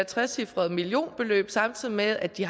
trecifret millionbeløb samtidig med at de